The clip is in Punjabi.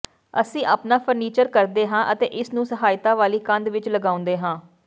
ਅਸੀਂ ਆਪਣਾ ਫਰਨੀਚਰ ਕਰਦੇ ਹਾਂ ਅਤੇ ਇਸ ਨੂੰ ਸਹਾਇਤਾ ਵਾਲੀ ਕੰਧ ਵਿਚ ਲਗਾਉਂਦੇ ਹਾਂ